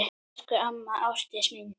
Elsku amma Ásdís mín.